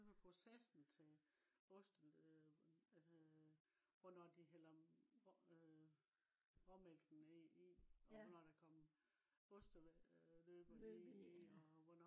selve processen til oste øh altså øh og når de hælder øh råmælkene i og når der kommer osteløbe i